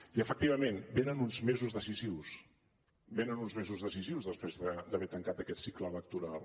i efectivament venen uns mesos decisius venen uns mesos decisius després d’haver tancat aquest cicle electoral